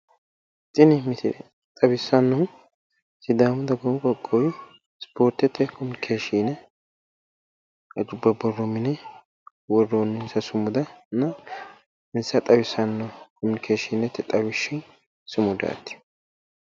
Tini misile xawissannohu sidaamu dagoomu qoqqowi ispoortete komunikeeshiine hajubba borro mine worroonninsa sumudanna insa xawissanno komunikeeshiinete xawishshi sumudaati.